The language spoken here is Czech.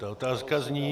Ta otázka zní.